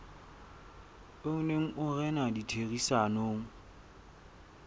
o neng o rena ditherisanong